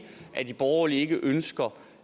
at de borgerlige ikke ønsker